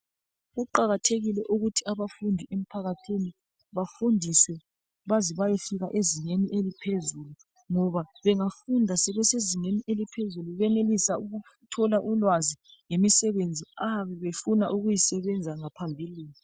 Kuqakathekile ukuthi abafundi emphakathini bafundiswe baze bayefika ezingeni eliphezulu ngoba bengafunda sebesezingeni eliphezulu benelisa ukuthola ulwazi ngemisebenzi abayabe befuna ukuyisebenza ngaphambilini.